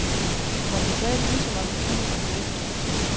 Og man kan tale ligeså mange timer, man har lyst.